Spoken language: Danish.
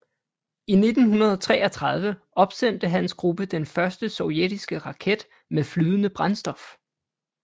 I 1933 opsendte hans gruppe den første sovjetiske raket med flydende brændstof